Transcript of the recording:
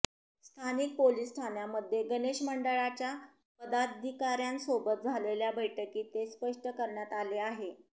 स्थानिक पोलीस ठाण्यांमध्ये गणेश मंडळांच्या पदाधिकाऱ्यांसोबत झालेल्या बैठकीत हे स्पष्ट करण्यात आले आहे